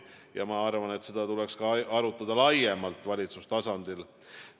Ja ma arvan, et seda tuleks ka arutada laiemalt valitsustasandil.